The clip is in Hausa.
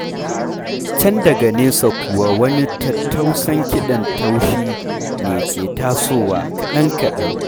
Can daga nesa kuwa wani tattausan kiɗan taushi ne ke tasowa kaɗan-kaɗan.